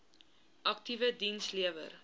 aktiewe diens lewer